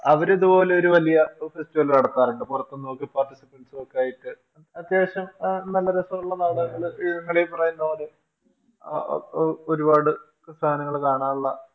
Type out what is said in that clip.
അവരിതുപോലൊരു വലിയ Festival നടത്താറുണ്ട് പുറത്തുന്നൊക്കെ Participants ഒക്കെയായിട്ട് അത്യാവശ്യം നല്ല രസവുള്ള നാടകങ്ങള് ഈ ഒരുപാട് സാധനങ്ങള് കാണാറുള്ള